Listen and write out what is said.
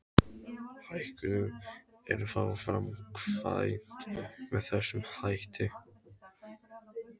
Hækkunin er þá framkvæmd með þessum hætti.